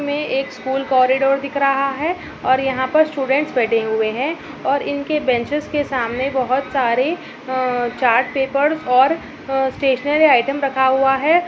इसमें एक school corridor दिख रहा है और यहाँ पर स्टूडेंट्स बैठे हुए हैं और इनके बेंचेस के सामने बहुत सारे अ चार्ट पेपर और अ स्टेशनरी आइटम रखा हुआ है।